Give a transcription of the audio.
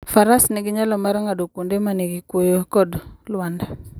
Faras nigi nyalo mar ng'ado kuonde ma nigi kuoyo kod lwanda.